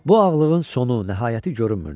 Bu ağlığın sonu, nəhayəti görünmürdü.